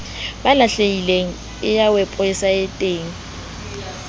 ba lahlehileng e ya weposaeteng